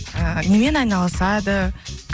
ыыы немен айналысады